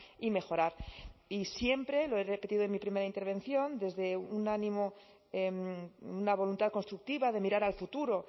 y mejorar y siempre lo he repetido en mi primera intervención desde un ánimo una voluntad constructiva de mirar al futuro